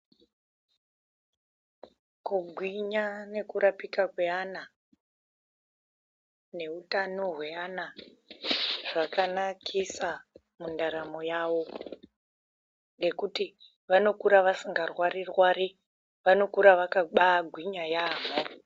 Kugwinya neku rapika kwe ana ne utano hwe ana zvakanakisa mu ndaramo yavo nekuti vanokura vasinga rwari rwari vanokura vakabai gwinya yamho.